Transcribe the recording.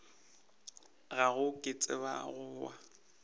gago ke tseba go wa